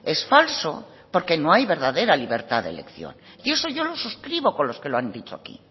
es falso porque no hay verdadera libertad de elección y eso yo lo suscribo con los que lo han dicho aquí